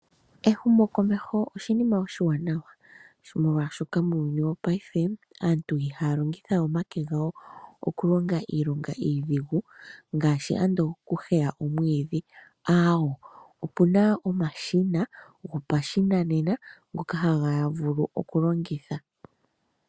Ehumokomeho oshinima oshiwanawa, molwashoka muuyuni wopaife, aantu ihaa longitha we omake gawo okulonga iilonga iidhigu, ngaashi ando okuheya omwiidhi, aawo, opu na omashina gopashinanena ngoka haya vulu okulongitha.